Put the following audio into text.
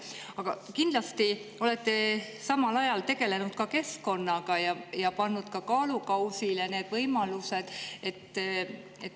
Aga kindlasti olete samal ajal tegelenud ka keskkonnaga ja pannud kaalukausile need võimalused.